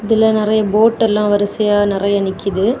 இதுல நெறைய போட் எல்லம் வரிசையா நெறைய நிக்குது.